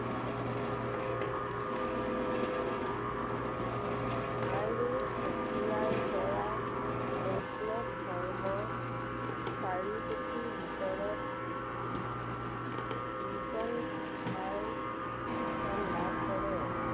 আৰু তেতিয়াৰে পৰা বৈষ্ণৱ ধৰ্ম চাৰি পুথিৰ ভিতৰত কীৰ্ত্তন ঘোষাই স্থান লাভ কৰে।